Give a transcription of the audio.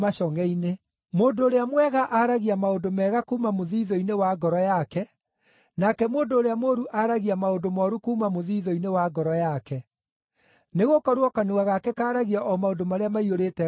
Mũndũ ũrĩa mwega aragia maũndũ mega kuuma mũthiithũ-inĩ wa ngoro yake, nake mũndũ ũrĩa mũũru aragia maũndũ mooru kuuma mũthiithũ-inĩ wa ngoro yake. Nĩgũkorwo kanua gake kaaragia o maũndũ marĩa maiyũrĩte ngoro yake.